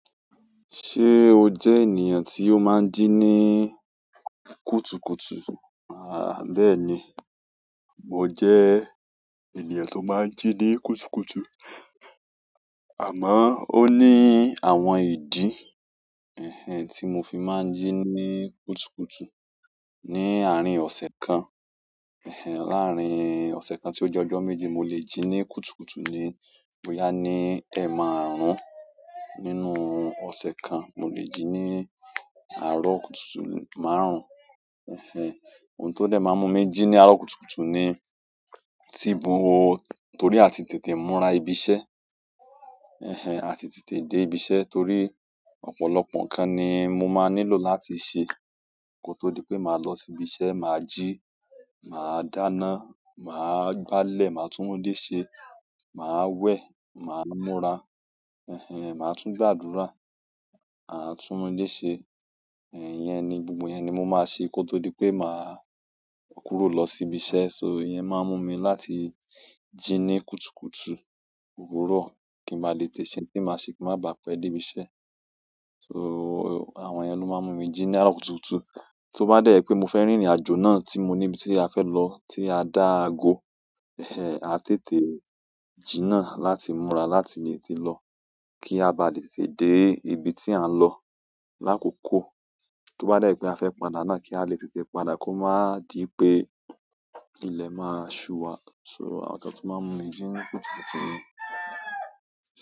Ṣé o jẹ ènìyàn tí ó máa ń jí ní kùtùkùtù? Àh bèeni. Mo jẹ ènìyàn tó máa ń jí ní kùtùkùtù. Àmọ́, ó ní àwọn ìdí, ẹhen, tí mo fi máa ń jí ní kùtùkùtù. Ni àárín ọ̀sẹ̀ kan, ẹhen, láàárín ọ̀sẹ̀ kan tí ó jẹ́ ọjọ́ méje, mo lè jí ní kùtùkùtù ni. Boya ni eemarun-un nínú ose kan mo lè jí ní àárọ̀ kùtùkùtù márùn-ún, ẹhen. Ohun tó dẹ̀ máa ń mú mi jí ní àárọ̀ kùtùkùtù ni, ti mo wò torí a ti tètè múra ibi iṣẹ́, ẹhen, a ti tètè dé ibi iṣẹ́ torí ọ̀pọ̀lọpọ̀ nǹkan ni mo máa nílò láti ṣe ko to dipe maa lo si ibi iṣẹ́. Màá ji, màá dáná, màá gbálẹ̀, màá túnule ṣe, màá we, màá múra, ẹhen, màá tún gbàdúrà, màá túnúlé ṣe. Ẹ̀hẹn, iyẹn ni, gbogbo yẹn ni mo máa ṣe, kó tó di pé maá kúrò lọ sí ibi iṣẹ́. So, ìyẹn máa ń mú mi láti jí ní kùtùkùtù òwúrọ̀ kí n ba lè tètè ṣe ohun tí màá ṣe kí n máa bàá pẹ́ dé ibi iṣẹ́. So, àwọn yẹn ló máa ń mú mi jí ní àárọ̀ kùtùkùtù. Tó bá dẹ́ jẹ pé mo fẹ́ rìnrìn aàjò náà tí mo níbi tí a fẹ́ lọ tí a dá àgọ, ẹhen, a tètè jí naá láti múra láti lè tètè lọ kí a bá lè tètè dé ibi tí à ń lọ lákòkò. To ba de je pe a fe padà náà, ki a le tètè padà ko maa di wípé ile maa su wa so, àwọn nǹkan tó máa ń mú mi jí ní kùtùkùtù ni.